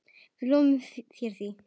Við lofum þér því.